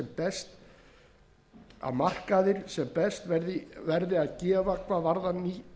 fyrirkomulag lágmarksverðs sem tekur mið af hæsta verði erlendis að